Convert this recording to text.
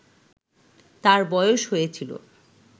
তার বয়স হয়েছিল